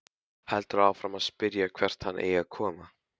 Heldur áfram að spyrja hvert hann eigi að koma.